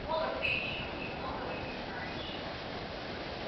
молод ты ещё и многого не знаешь